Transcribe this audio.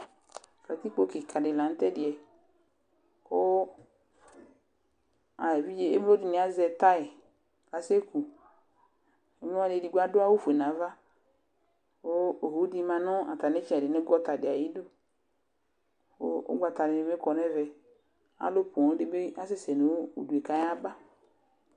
Katikpo kika di lanu tɛdɩɛ kʋ emloni azɛ tayi ase kʋ Evidze edigbo adu awʋfue nʋ ava, kʋ owu di manʋ atamɩ gɔta di ayʋ ɩdʋ Kʋ ugbata ni bɩ kɔ nʋ ɛvɛ Alʋ poo di bɩ asɛ sɛ nʋ ʋdʋ yɛ kʋ ayaba